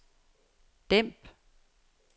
dæmp